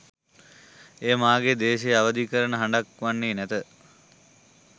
එය මාගේ දේශය අවධි කරන හඬක් වන්නේ නැත.